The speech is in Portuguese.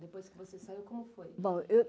Depois que você saiu, como foi?